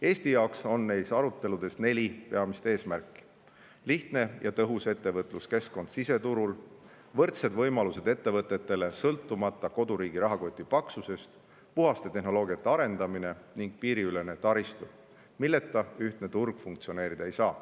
Eesti jaoks on neis aruteludes neli peamist eesmärki: lihtne ja tõhus ettevõtluskeskkond siseturul; võrdsed võimalused ettevõtetele, sõltumata koduriigi rahakoti paksusest; puhta tehnoloogia arendamine; ning piiriülene taristu, milleta ühtne turg funktsioneerida ei saa.